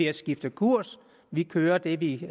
at skifte kurs vi kører det vi